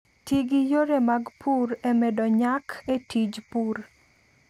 Ti gi yore mag pur e medo nyak e tij pur.